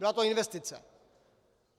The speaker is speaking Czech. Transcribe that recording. Byla to investice.